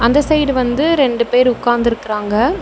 அந்த சைடு வந்து ரெண்டு பேர் உக்காந்துருக்கறாங்க.